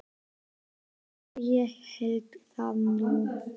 Og já, ég hélt það nú.